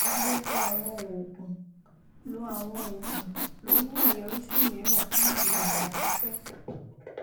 gbogbo àwọn òògùn ló àwọn òògùn ló ní àyọrísí mìíràn fún ìlò ìgbà pípẹ